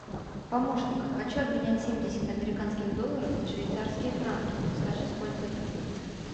помощник хочу обменять семьдесят американских долларов на швейцарские франки подскажи сколько это будет